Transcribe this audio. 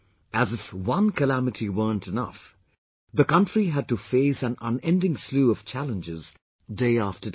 As if one calamity weren't enough, the country has had to face an unending slew of challenges, day after day